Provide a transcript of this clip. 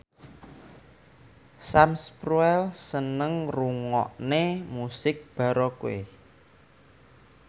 Sam Spruell seneng ngrungokne musik baroque